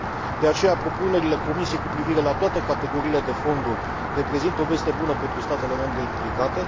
De aceea, propunerile Comisiei cu privire la toate categoriile de fonduri reprezintă o veste bună pentru statele membre implicate.